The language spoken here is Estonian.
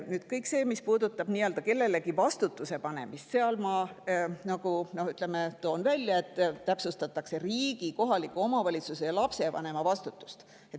Kõige selle puhul, mis puudutab nii-öelda kellelegi vastutuse panemist, ma toon välja, et täpsustatakse riigi, kohaliku omavalitsuse ja lapsevanema vastutust.